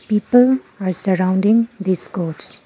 people are surrounding this gods.